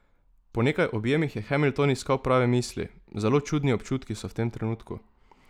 Po nekaj objemih je Hamilton iskal prave misli: "Zelo čudni občutki so v tem trenutku.